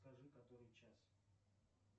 скажи который час